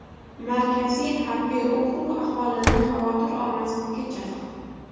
Markaziy harbiy okrug aholini xavotir olmaslikka chaqirdi.